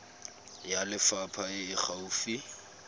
ya lefapha e e gaufi